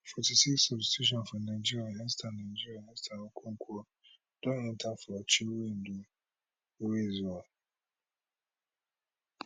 Forty six substitution for nigeria esther nigeria esther okoronkwo don enta for chinwendu ihezuo